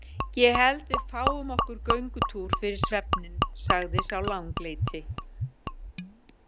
Ég held við fáum okkur göngutúr fyrir svefninn, sagði sá langleiti.